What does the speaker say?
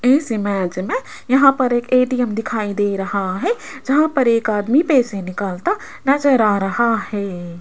इस इमेज में यहां पर एक ए_टी_एम दिखाई दे रहा है जहां पर एक आदमी पैसे निकलता नजर आर हा है।